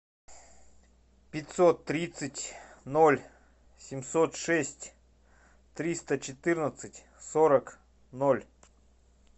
пятьсот тридцать ноль семьсот шесть триста четырнадцать сорок ноль